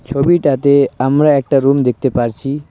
ছবিটাতে আমরা একটা রুম দেখতে পারছি।